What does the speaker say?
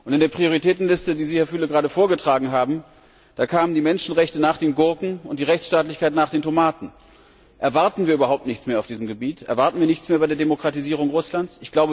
In der Prioritätenliste, die Sie, Herr Füle, gerade vorgetragen haben, kamen die Menschenrechte nach den Gurken und die Rechtsstaatlichkeit nach den Tomaten. Erwarten wir überhaupt nichts mehr auf diesem Gebiet? Erwarten wir nichts mehr bei der Demokratisierung Russlands?